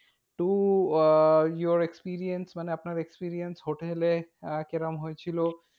To uh your experience মানে আপনার experience হোটেলে আহ কিরকম হয়েছিল?